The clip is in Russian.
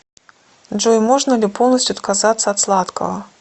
джой можно ли полностью отказаться от сладкого